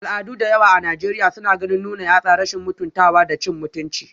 Al'adu da yawa a Najeriya suna ganin nuna yatsa rashin mutuntawa da cin mutunci